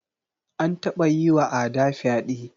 An taba yiwa Ada fyaɗe.